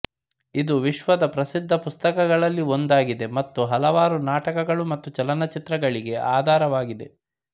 ಇದು ವಿಶ್ವದ ಪ್ರಸಿದ್ಧ ಪುಸ್ತಕಗಳಲ್ಲಿ ಒಂದಾಗಿದೆ ಮತ್ತು ಹಲವಾರು ನಾಟಕಗಳು ಮತ್ತು ಚಲನಚಿತ್ರಗಳಿಗೆ ಆಧಾರವಾಗಿದೆ